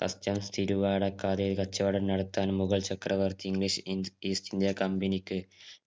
customs തിരുവടക്കാതെ കച്ചവട നടത്താൻ മുഗഴ്‌ചക്രവർത്തി മിഷ് ഇൻ ഈസ്റ്റിന്ത്യ company ക്ക്